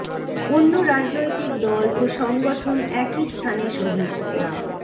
অন্য রাজনৈতিক দল ও সংগঠন একই স্থানে শহীদ ডা